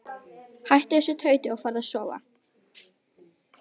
Hættu þessu tauti og farðu að sofa.